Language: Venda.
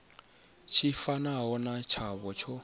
tshi fanaho na tshavho tsho